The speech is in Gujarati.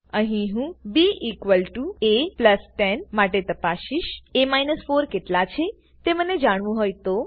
અહી હું ba10માટે તાપસીસ એ 4 કેટલા છે તે મને જાણવું હોય તો